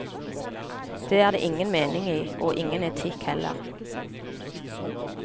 Det er det ingen mening i, og ingen etikk heller.